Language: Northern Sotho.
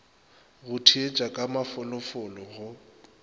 go theetša ka mafolofolo go